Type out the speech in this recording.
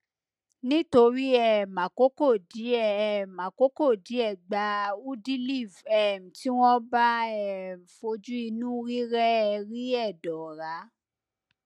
nítorí um àkókò díẹ um àkókò díẹ gba udiliv um tí wọn bá um fojú inú rírẹẹ rí ẹdọ ọra